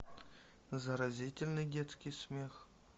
заразительный детский смех